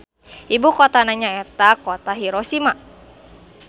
Ibukotana nyaeta Kota Hiroshima.